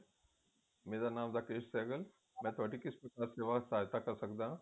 ਮੇਰਾ ਨਾਮ ਰਾਕੇਸ਼ ਸਹਿਗਲ ਮੈਂ ਤੁਹਾਡੀ ਕਿਸ ਪ੍ਰਕਾਰ ਸੇਵਾ ਸਹਾਇਤਾ ਕਰ ਸਕਦਾ